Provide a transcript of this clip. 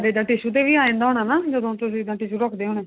ਤਾਂ tissue ਤੇ ਵੀ ਆ ਜਾਂਦਾ ਹੋਣਾ ਨਾ ਜਦੋਂ ਤੁਸੀਂ tissue ਰੱਖਦੇ ਹੋਣੇ